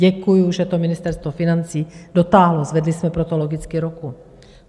Děkuju, že to Ministerstvo financí dotáhlo, zvedli jsme pro to logicky ruku.